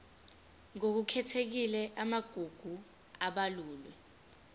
ngokukhethekile amagugu abalulwe